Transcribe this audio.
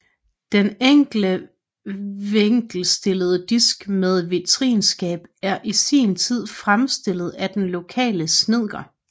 Den enkle vinkelstillede disk med vitrineskab er i sin tid fremstillet af den lokale snedker